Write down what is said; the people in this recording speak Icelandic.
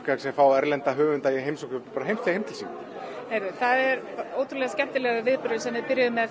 sem fá erlenda höfunda heim til sín það er ótrúlega skemmtilegur viðburður sem við byrjuðum með